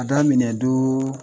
A daminɛ don